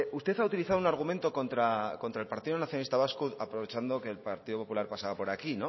usted ha utilizado un argumento contra el partido nacionalista vasco aprovechando que el partido popular pasaba por aquí